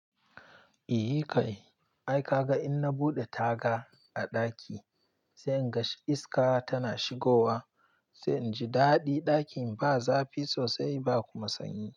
Iyi kai, ai ka ga inna buɗe taga a ɗaki, sai in ga iska tana shigowa, sai in ji daɗi ɗakin ba zafi sosai ba kuma sanyi.